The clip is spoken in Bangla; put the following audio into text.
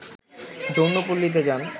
যৌনপল্লীতে যান